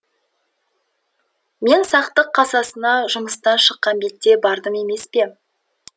мен сақтық кассасына жұмыстан шыққан бетте бардым емес пе